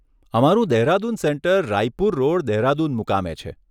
અમારું Dehradun centre Raipur road, Dehradun મુકામે છે.